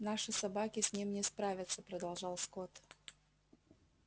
наши собаки с ним не справятся продолжал скотт